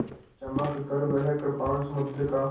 चमककर वह कृपाण समुद्र का